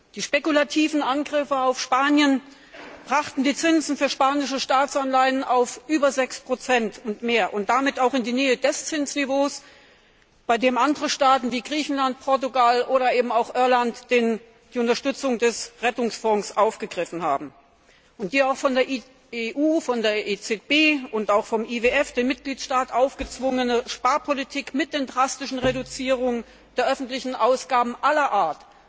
Die spekulativen Angriffe auf Spanien brachten die Zinsen für spanische Staatsanleihen auf über 6 und mehr und damit auch in die Nähe des Zinsniveaus, bei dem andere Staaten wie Griechenland, Portugal oder eben auch Irland die Unterstützung des Rettungsfonds in Anspruch genommen haben. Die von der EU, der EZB und auch vom IWF den Mitgliedstaaten aufgezwungene Sparpolitik mit den drastischen Reduzierungen der öffentlichen Ausgaben aller Art,